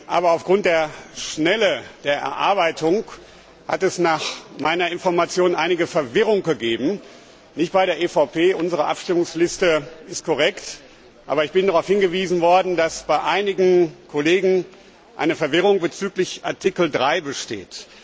Aber aufgrund der Schnelle der Erarbeitung hat es nach meiner Information einige Verwirrung gegeben nicht bei der EVP, unsere Abstimmungsliste ist korrekt, aber ich bin darauf hingewiesen worden, dass bei einigen Kollegen Verwirrung bezüglich Ziffer 3 besteht.